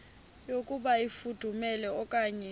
yokuba ifudumele okanye